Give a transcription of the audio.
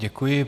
Děkuji.